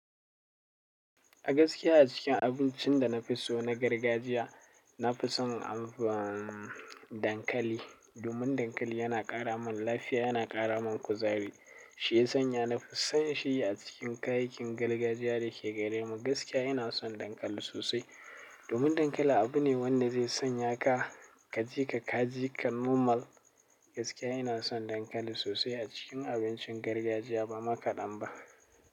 A gaskiya a cikin abincin da na fi so na gargajiya, na fi son dankali. Domin dankali yana ƙara min lafiya, yana ƙara min kuzari. Shi ya sanya na fi son shi a cikin kayakin gargajiya da ke gare mu. Gaskiya ina son dankali sosai. Domin dankali abu ne wanda zai sanya ka kaje ka kaji, ka normal. Gaskiya ina son dankali sosai a cikin abincin gargajiya ba makaɗan ba.